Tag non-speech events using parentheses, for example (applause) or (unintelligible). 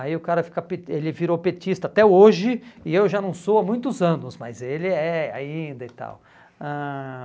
Aí o cara fica (unintelligible) ele virou petista até hoje, e eu já não sou há muitos anos, mas ele é ainda e tal. Ãh